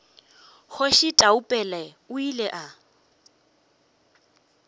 kgoši taupela o ile a